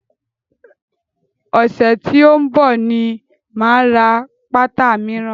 Ọ̀sẹ̀ tí ó ń bọ̀ ni máa ra pátá míràn.